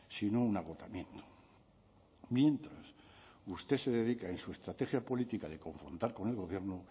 sino un agotamiento mientras usted se dedica en su estrategia política de confrontar con el gobierno